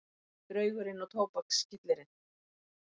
Draugurinn og tóbakskyllirinn